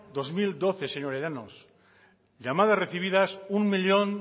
dos mil doce señora llanos llamadas recibidas un millón